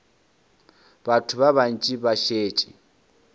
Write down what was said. batho ba bantši ba šetše